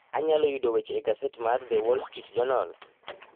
Anyalo yudo weche e gaset mar The Wall Street Journal